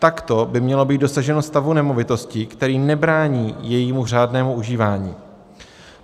Takto by mělo být dosaženo stavu nemovitosti, který nebrání jejímu řádnému užívání.